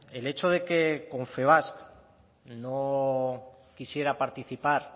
el hecho de que confebask no quisiera participar